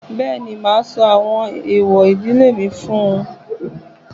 Bẹ́ẹ̀ni, màá sọ àwọn ẹ̀èwọ̀ ìdílé mi fún-un.